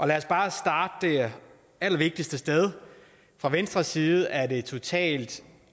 lad os bare starte det allervigtigste sted fra venstres side er det totalt